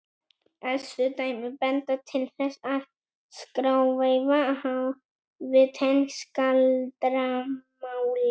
elstu dæmi benda til þess að skráveifa hafi tengst galdramáli